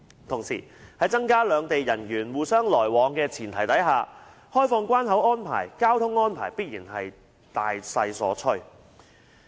同時，在增加兩地人員互相來往的前提下，開放關口安排、交通安排必然是大勢所趨。